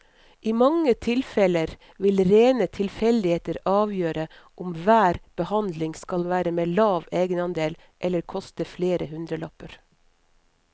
I mange tilfeller vil rene tilfeldigheter avgjøre om hver behandling skal være med lav egenandel eller koste flere hundrelapper.